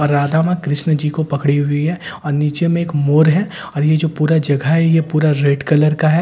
और राधा मां कृष्‍ण जी को पकड़ी हुई हैं और नीचे में एक मोर है और ये जो पूरा जगह है ये पूरा रेड कलर का है और ठीक --